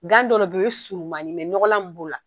Gandɔ yɛrɛ bɛ u ye surumanin ye ɲɔgɔnlan min b'o la.